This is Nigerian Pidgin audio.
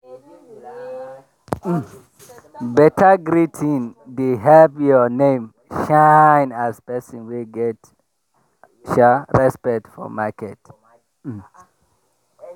um beta greeting dey help your name shine as person wey get um respect for market. um